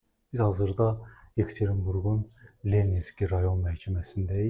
Biz hazırda Ekaterinburgun Leninski rayon məhkəməsindəyik.